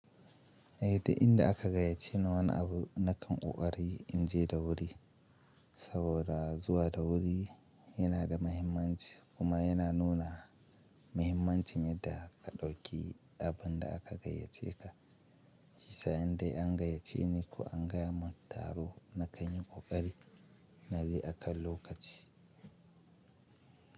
Eh, da inda aka gayyace na wani abu na kan ƙoƙari in je da wuri, saboda zuwa da wuri yana da mahimmanci kuma yana nuna mahimmancin yadda ka ɗauki abun da aka gayyace ka. Shi yasa inda an gayyace ni ko an gaya mun taro na kan yi ƙoƙari na je akan lokaci.